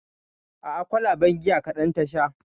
A'a kwalaben giya kaɗan ta sha